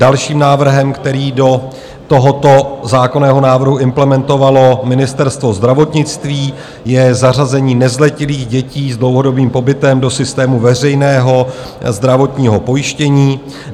Dalším návrhem, který do tohoto zákonného návrhu implementovalo Ministerstvo zdravotnictví, je zařazení nezletilých dětí s dlouhodobým pobytem do systému veřejného zdravotního pojištění.